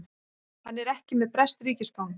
Hann er ekki með breskt ríkisfang